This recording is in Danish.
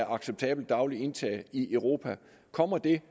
acceptabelt daglig indtag i europa kommer det